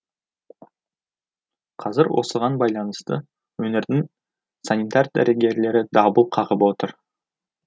қазір осыған байланысты өңірдің санитар дәрігерлері дабыл қағып отыр